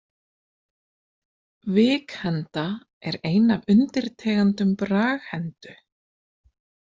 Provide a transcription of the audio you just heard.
Vikhenda er ein af undirtegundum braghendu.